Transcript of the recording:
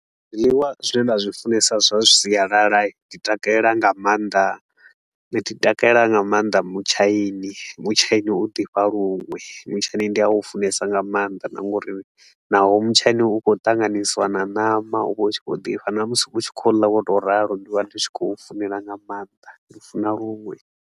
Zwiḽiwa zwine nda zwi funesa zwa sialala hii, ndi takalela nga maanḓa ndi takalela nga maanḓa mutshaini. Mutshaini u ḓifha lunwe, mutshaini ndi a funesa nga maanḓa na nga uri naho mutshaini u khou ṱanganisiwa na ṋama u vha u tshi khou ḓifha, na musi u tshi khou ḽa wo tou ralo ndi vha ndi tshi khou funela nga maanḓa ndi u funa luṅwe.